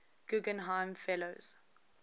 guggenheim fellows